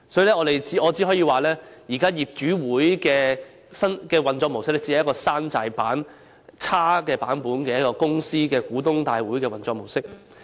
因此，我只可說現時業主大會的運作模式只是一種"山寨版"公司股東大會的差劣運作模式。